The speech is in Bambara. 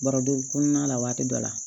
Baroden kɔnɔna la waati dɔ la